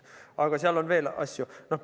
Aga seal on veel asju.